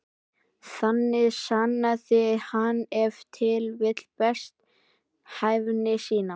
Þannig sannaði hann ef til vill best hæfni sína.